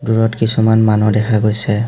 দুৰত কিছুমান মানুহ দেখা গৈছে।